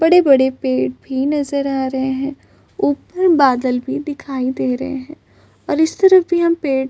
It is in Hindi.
बड़े बड़े पेड़ भी नजर आ रहे है उपर बादल भी दिखाई दे रहे है और इस तरफ भी हम पेड़ --